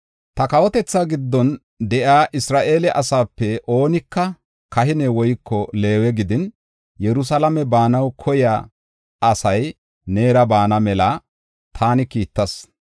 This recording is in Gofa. “Ta kawotetha giddon de7iya Isra7eele asaape oonika, kahine woyko Leewe gidin, Yerusalaame baanaw koyiya asay neera baana mela taani kiittas.